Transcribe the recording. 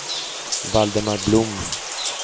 Valdemar Blom